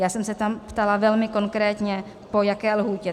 Já jsem se tam ptala velmi konkrétně, po jaké lhůtě.